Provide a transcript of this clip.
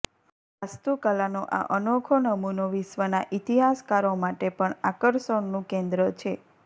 વાસ્તુકલાનો આ અનોખો નમૂનો વિશ્વના ઇતિહાસકારો માટે પણ આકર્ષણનું કેન્દ્ર છે